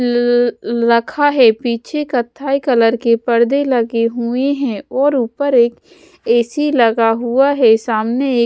लखा है पीछे कत्थई कलर के परदे लगे हुए हैं और ऊपर एक ए_सी लगा हुआ है सामने एक--